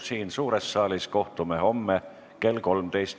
Siin suures saalis kohtume homme kell 13.